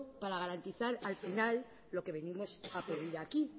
para garantizar al final lo que venimos a pedir aquí